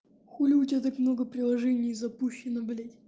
хули у тебя так много приложений запущено блять